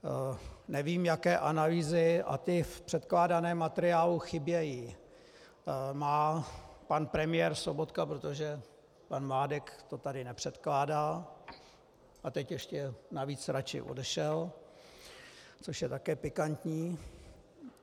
Nevím, jaké analýzy - a ty v předkládaném materiálu chybějí - má pan premiér Sobotka, protože pan Mládek to tady nepředkládá - a teď ještě navíc raději odešel, což je také pikantní.